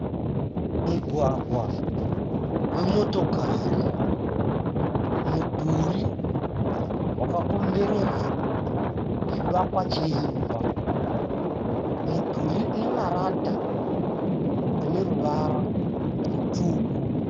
Mugwagwa wemotokari. Mudhuri wakakomberedza chivakwa cheimba. Mudhuri une marata ane ruvara rutsvuku.